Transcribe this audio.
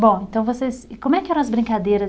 Bom, então vocês e como é que eram as brincadeiras?